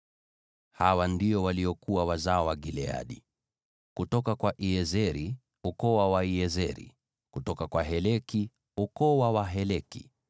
Hawa ndio waliokuwa wazao wa Gileadi: kutoka kwa Iezeri, ukoo wa Waiezeri; kutoka kwa Heleki, ukoo wa Waheleki;